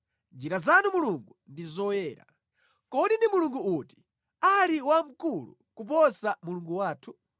Njira zanu Mulungu ndi zoyera. Kodi ndi mulungu uti ali wamkulu kuposa Mulungu wathu?